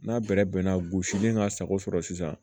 N'a bɛrɛ bɛnna gosilen ka sago sɔrɔ sisan